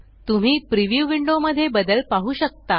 तुम्ही preview window मध्ये बदल पाहु शकता